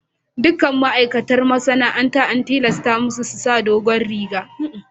Duk ma'aikatan masana'antar an tilasta musu su sa dogon rigar.